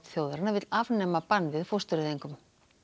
þjóðarinnar vill afnema bann við fóstureyðingum